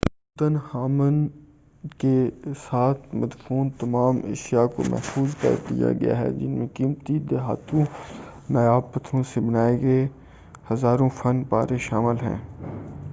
طوطن خامن کے ساتھ مدفون تمام اشیاء کو محفوظ کرلیا گیا ہے جن میں قیمتی دھاتوں اور نایاب پتّھروں سے بنائے گئے ہزاروں فن پارے شامِل ہیں